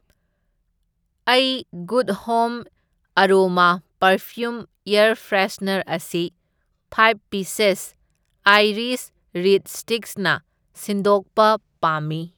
ꯑꯩ good home aroma perfume air freshener ꯑꯁꯤ five pieces iris reed sticks ꯅ ꯁꯤꯟꯗꯣꯛꯄ ꯄꯥꯝꯃꯤ꯫